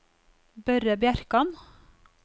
Børre Bjerkan